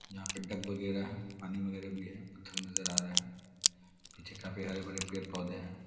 यहाँ पर डक वगेरा है। पानी वगेरा भी है। पत्थर नजर आ रहा है। पीछे काफी हरे-भरे पेड़-पौधे हैं।